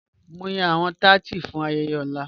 Mo n yan awọn tátí fún ayẹyẹ ọ̀lá.